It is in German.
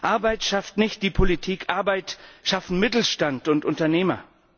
Arbeit schafft nicht die Politik, Arbeit schaffen Mittelstand und Unternehmer.